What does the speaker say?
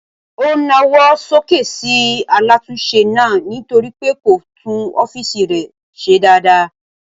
O na ọwọ sókè sí alatunse náà nítorí pé kó tún ọ̀fiísí rẹ ṣe dáadáa.